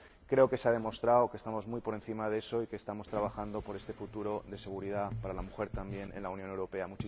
Creo que se ha demostrado que estamos muy por encima de eso y que estamos trabajando por este futuro de seguridad para la mujer, también en la Unión Europea.